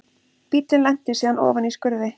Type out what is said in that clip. Bíllinn lenti síðan ofan í skurði